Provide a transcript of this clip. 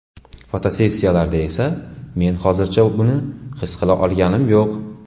Fotosessiyalarda esa men hozircha buni his qila olganim yo‘q”.